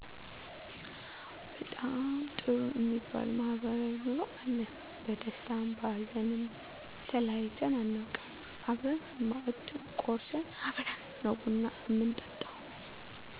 በጣም ጥሩ እሚባል ማህበራዊ ኑሮ አለን በደስታም በሀዘንም ተለያይተን አናውቅም አብረን ማእድ ቆርስን አብረን ነው ቡና ምንጠጣው